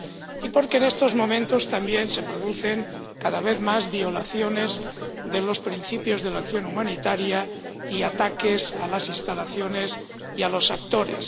Y porque en estos momentos, también, se producen cada vez más violaciones de los principios de la acción humanitaria y ataques a las instalaciones y a los actores.